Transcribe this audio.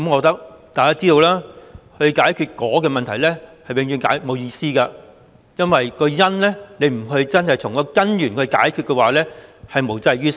大家也知道，要解決"果"的問題，是永遠沒意思的，因為不真正從根源解決"因"，是無濟於事的。